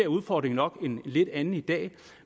udfordringen nok en lidt anden i dag